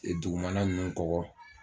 Dugumana ninnu kɔgɔ